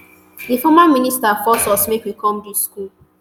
di former minister force us make we come dis school.